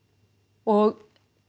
og